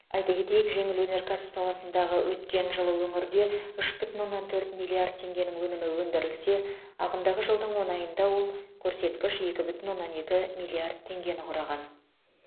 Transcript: айта кетейік жеңіл өнеркәсіп саласындағы өткен жылы өңірде үш бүтін оннан төрт миллиард теңгенің өнімі өндірілсе ағымдағы жылдың он айында ол көрсеткіш екі бүтін оннан екі миллиард теңгені құраған